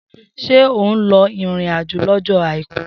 Se oun lọ irin ajo lójó àìkú?